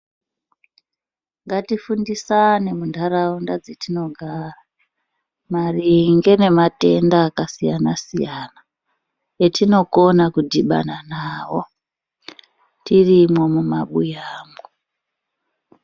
Ngatifundisane muntaraunda dzatinogara maringe nematenda akasiyana siyana etinokona kudhibana nawo tirimwo mumabuyamwo.